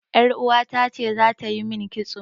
Yar uwata ce za ta yi min kitso.